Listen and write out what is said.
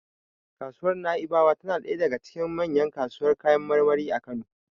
Kasuwar Na'ibawa tana ɗaya daga cikin manyan kasuwar kayan marmari a Kano.